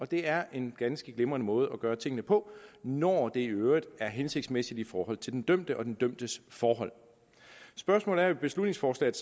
det er en ganske glimrende måde at gøre tingene på når det i øvrigt er hensigtsmæssigt i forhold til den dømte og den dømtes forhold spørgsmålet i beslutningsforslaget